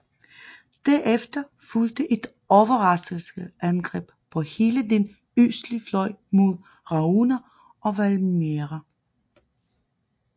Derefter fulgte et overraskelsesangreb på hele den østlige fløj mod Rauna og Valmiera